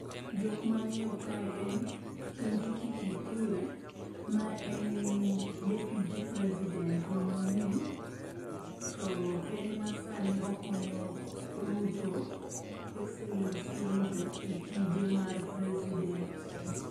Jok mang'eyo kae en, Kindiki Kithure ma en deputy president wa manyien to en ema sani okonyo Ruto excellency Ruto e tije mar president.